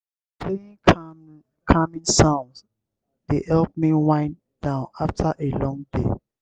playing calming sounds dey help me wind down after a long day.